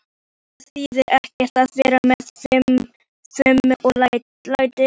Það þýðir ekkert að vera með fum og læti.